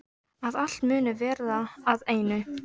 Að allt muni verða að einu.